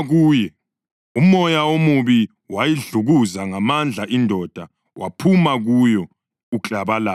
Umoya omubi wayidlukuza ngamandla indoda waphuma kuyo uklabalala.